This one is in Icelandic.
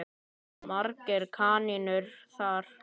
Margar kanónur þar.